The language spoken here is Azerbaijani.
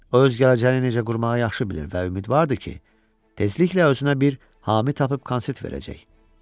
O öz gələcəyini necə qurmağı yaxşı bilir və ümidvardır ki, tezliklə özünə bir hami tapıb konsert verəcək.